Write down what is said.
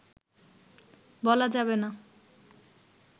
বলা যাবে না